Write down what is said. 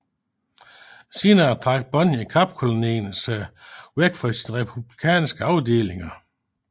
Senere trak Bond i Kapkolonien sig bort fra sine republikanske afdelinger